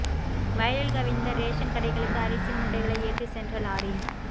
வயலில் கவிழ்ந்த ரேஷன் கடைகளுக்கு அரிசி மூட்டைகளை ஏற்றிச் சென்ற லாரி